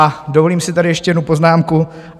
A dovolím si tady ještě jednu poznámku.